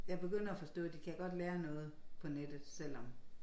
Jeg begynder at forstå de kan godt lære noget på nettet selvom